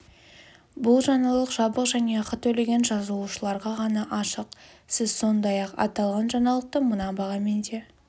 бұл жаңалық жабық және ақы төлеген жазылушыларға ғана ашық сіз сондай-ақ аталған жаңалықты мына бағамен де